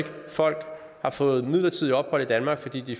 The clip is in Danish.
folk har fået midlertidigt ophold i danmark fordi de